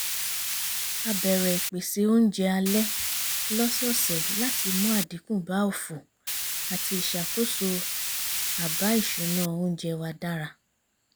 a bẹ̀rẹ̀ ìpésé oúnjẹ alẹ́ lọ́sọ́ọ̀sẹ̀ láti mú àdínkù bá òfò àti ìṣàkóso àbá ìṣúná oúnjẹ wa dára